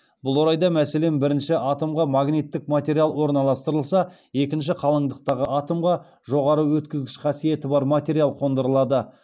бұл орайда мәселен бірінші атомға магниттік материал орналастырылса екінші қалыңдықтағы атомға жоғары өткізгіш қасиеті бар материал қондырылады